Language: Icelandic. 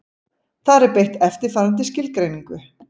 Þar er beitt eftirfarandi skilgreiningu: